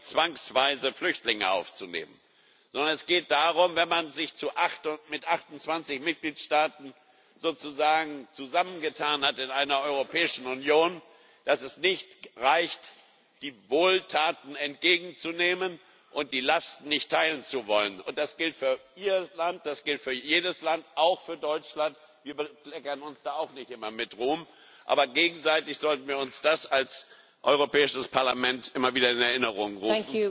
Es geht nicht darum, zwangsweise Flüchtlinge aufzunehmen, sondern es geht darum Wenn man sich als 28 Mitgliedstaaten sozusagen zusammengetan hat in einer Europäischen Union, reicht es nicht, die Wohltaten entgegenzunehmen, die Lasten aber nicht teilen zu wollen. Das gilt für Ihr Land, das gilt für jedes Land auch für Deutschland. Wir bekleckern uns da auch nicht immer mit Ruhm. Aber gegenseitig sollten wir uns das als Europäisches Parlament immer wieder in Erinnerung rufen